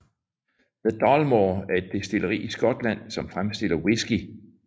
The Dalmore er et destilleri i Skotland som fremstiller whisky